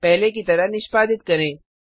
पहले की तरह निष्पादित करें